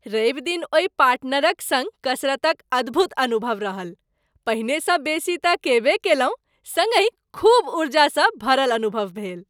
रवि दिन ओहि पार्टनरक सङ्ग कसरतक अद्भुत अनुभव रहल। पहिनेसँ बेसी तँ कयबे कयलहुँ सङ्गहि खूब ऊर्जासँ भरल अनुभव भेल।